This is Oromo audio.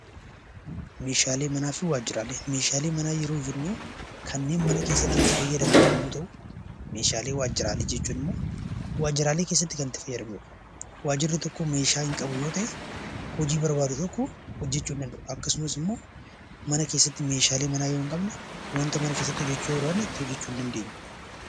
Meeshaalee manaa fi waajjiraalee Meeshaalee manaa yoo jennu kanneen mana keessatti itti fayyadamnu yoo ta'u; Meeshaalee waajjiraalee jechuun immoo waajjiraalee keessatti kan itti fayyadamnu dha. Waajjirri tokko meeshaa hin qabu yoo ta'e, hojii barbaadu tokko hojjechuu hin danda'u. Akkasumas immoo mana keessatti meeshaalee manaa yoo hin qabne wanta mana keessatti hojjechuu barbaanne itti hojjechuu hin dandeenyu.